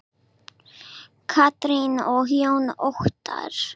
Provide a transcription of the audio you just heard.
Katrín og Jón Óttarr.